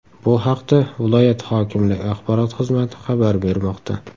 Bu haqda viloyat hokimligi axborot xizmati xabar bermoqda.